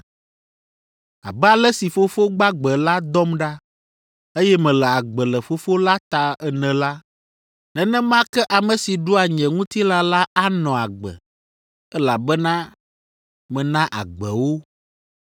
Abe ale si Fofo gbagbe la dɔm ɖa, eye mele agbe le Fofo la ta ene la, nenema ke ame si ɖua nye ŋutilã la anɔ agbe, elabena mena agbe wo.